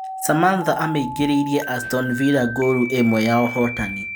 Samantha amĩingĩrĩirie Astovila ngooru ĩmwe ya ũhootani.